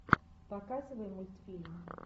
показывай мультфильм